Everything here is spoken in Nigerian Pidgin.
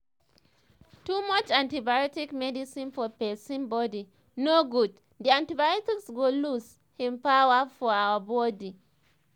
too much antibiotic medicine for pesin body nor good the antibiotics go lose hin power for ur body